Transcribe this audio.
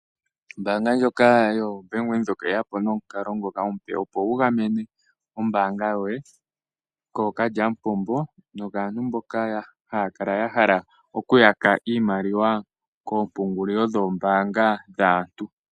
Ombanga ndjoka yoBank Windhoek oye ya po nomukalo ngoka omupe. Opo wu gamene ombanga yoye kookalyamupombo nokaantu mboka haya kala ya hala okuyaka iimaliwa oompungulilo dhoombanga dhaantu.